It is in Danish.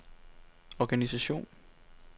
organisation